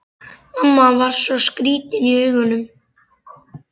Mamma var svo skrýtin í augunum.